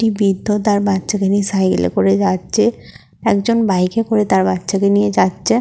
একটি বৃদ্ধ তার বাচ্চা কে নিয়ে সাইকেলে করে যাচ্ছে একজন বাইক এ করে তার বাচ্চা কে নিয়ে যাচ্ছে।